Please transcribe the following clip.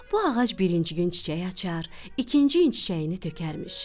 Bu ağac birinci gün çiçək açar, ikinci gün çiçəyini tökərmiş.